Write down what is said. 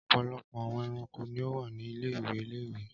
Ọpọlọpọ awọn ẹranko ni o wa ni ile-iwe ile-iwe.